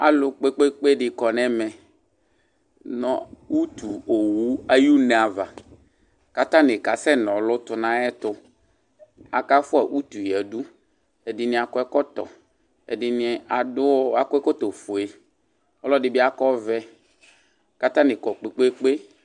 zAlʋ kpekpekpe dɩ kɔn'ɛmɛ nʋ utuowu ay'une ava, k'atanɩ kasɛnɔlʋ tʋ n'ayɛtʋ Akafua utu yǝdu, ɛdɩnɩ akɔ ɛkɔtɔ, ɛdɩnɩ akɔ ɛkɔtɔ fue, ɔlɔdɩ bɩ akɔ ɔvɛ k'atanɩ kɔ kpekpekpe